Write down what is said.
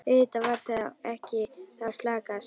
Auðvitað var ekki við þá að sakast.